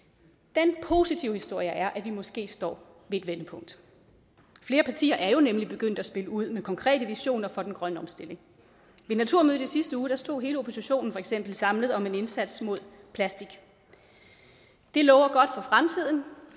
den positive historie er at vi måske står ved et vendepunkt flere partier er jo nemlig begyndt at spille ud med konkrete visioner for den grønne omstilling ved naturmødet i sidste uge stod hele oppositionen for eksempel samlet om en indsats mod plastik det lover godt for fremtiden